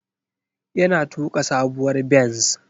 Yana tuka sabuwar benz.